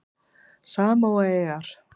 Samóaeyjar